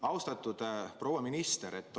Austatud proua minister!